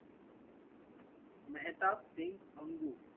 Mehtab Singh Angu